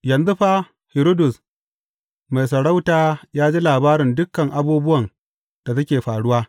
Yanzu fa, Hiridus mai sarauta ya ji labarin dukan abubuwan da suke faruwa.